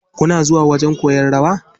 Kuna zuwa wajen koyan rawa.